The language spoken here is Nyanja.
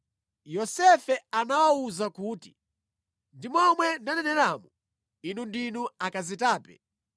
Yosefe anawawuza kuti, “Ndi momwe ndaneneramo: Inu ndinu akazitape.